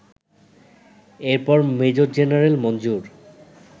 এরপর major general মঞ্জুর